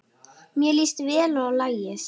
Mér líst vel á lagið.